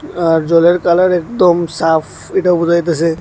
আর জলের কালার একদম সাফ এটাও বোঝাইতেসে।